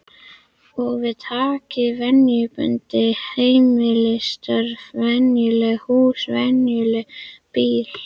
Og við taki venjubundin heimilisstörf, venjulegt hús, venjulegur bíll.